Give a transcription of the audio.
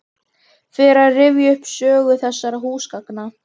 Fer að rifja upp sögu þessara húsgagna.